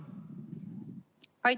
Aitäh teile!